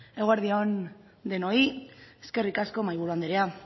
eguerdi on denoi eskerrik asko mahaiburu anderea